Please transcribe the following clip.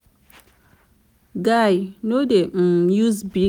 guy no dey um use big grammar wey pipo no go understand